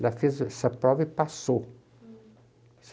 Ela fez essa prova e passou.